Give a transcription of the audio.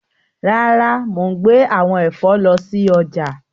Rara, mo n gbe awọn ẹfọ lọ si ọja.